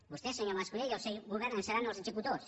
vostè senyor mas colell i el seu govern en seran els executors